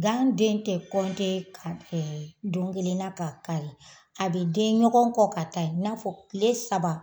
Gan den tɛ ka bɛn don kelenna ka kari a bɛ den ɲɔgɔn kɔ ka taa i n'a fɔ tile saba